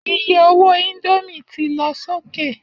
Iye owó indomie ti lọ sókè